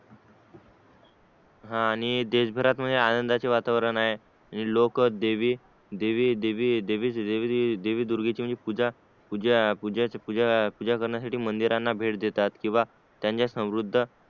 हा आणि देश भरात म्हणजे आनंदाचे वातावरण आहे लोक देवी दुर्गेचे पूजा करण्यासाठी मंदिरांना भेट देतेत किंवा त्यांच्या समृद्ध